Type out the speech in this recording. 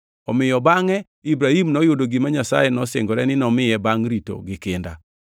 Omiyo bangʼe Ibrahim noyudo gima Nyasaye nosingore ni nomiye bangʼ rito gi kinda.